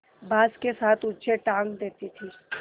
बाँस के साथ ऊँचे टाँग देती थी